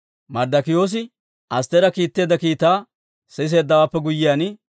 Marddokiyoosi Astteera kiitteedda kiitaa siseeddawaappe guyyiyaan,